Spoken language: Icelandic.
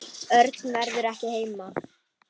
Örn verður ekki heima.